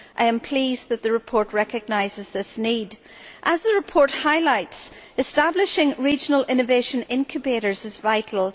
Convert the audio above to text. I am pleased that the report recognises this need. As the report highlights, establishing regional innovation incubators is vital.